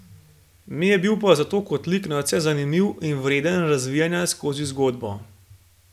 Mi je pa bil zato kot lik nadvse zanimiv in vreden razvijanja skozi zgodbo.